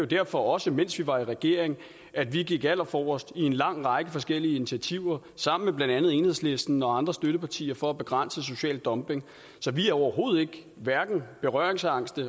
derfor også mens vi var i regering at vi gik allerforrest i en lang række forskellige initiativer sammen med blandt andet enhedslisten og andre støttepartier for at begrænse social dumping så vi er overhovedet ikke berøringsangste